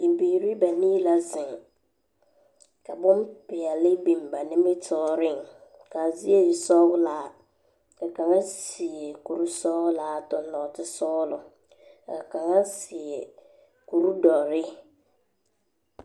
Bibiiri banii la zeŋ ka bompeɛle biŋba nimitɔɔreŋ. Ka a zie e sɔgelaa, ka kaŋa seɛ kuri sɔgelaa a toŋ noote sɔgelɔ. ka kaŋa seɛ kuri doɔre.